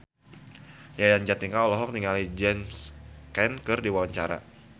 Yayan Jatnika olohok ningali James Caan keur diwawancara